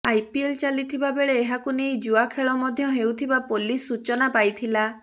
IPL ଚାଲିଥିବା ବେଳେ ଏହାକୁ ନେଇ ଜୁଆ ଖେଳ ମଧ୍ୟ ହେଉଥିବା ପୋଲିସ ସୂଚନା ପାଇଥିଲା